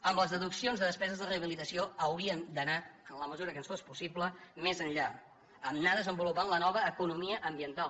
amb les deduccions de despeses de rehabilitació hauríem d’anar en la mesura que ens fos possible més enllà anar desenvolupant la nova economia ambiental